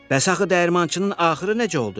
Bəs axı dəyirmançının axırı nə oldu?